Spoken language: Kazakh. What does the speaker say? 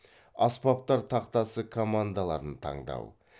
аспаптар тақтасы командаларын таңдау